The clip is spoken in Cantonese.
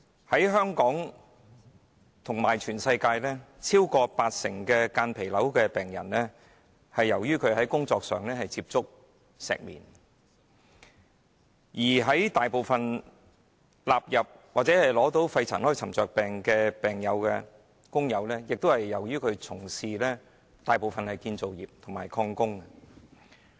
在香港和世界各地，超過八成間皮瘤患者，曾在工作期間接觸石棉；而大部分患上肺塵埃沉着病的病友，均曾從事建築或礦工行業。